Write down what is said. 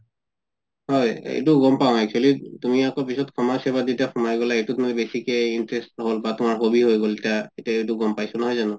হয় এইটো গম পাওঁ actually তুমি আকৌ পাছত সমাজ সেৱাত সুমাই গলা এইটোত আকৌ বেচিকে interest বা তুমাৰ hobby হয় গল এতিয়া এইটো গম পাইছো নহয় জানো